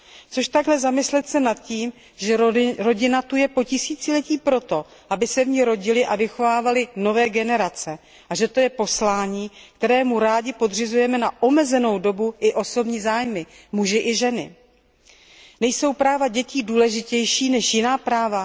Což takhle zamyslet se nad tím, že rodina zde je po tisíciletí proto, aby se v ní rodily a vychovávaly nové generace, a že to je poslání, kterému rádi, jak ženy, tak muži, podřizujeme na omezenou dobu i osobní zájmy. Nejsou práva dětí důležitější než jiná práva?